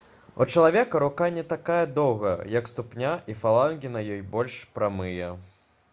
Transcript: у чалавека рука не такая доўгая як ступня і фалангі на ёй больш прамыя